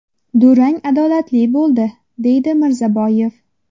Durang adolatli bo‘ldi”, deydi Mirzaboyev.